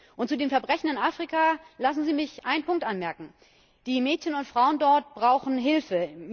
Und zu den Verbrechen in Afrika lassen Sie mich einen Punkt anmerken Die Mädchen und Frauen dort brauchen Hilfe.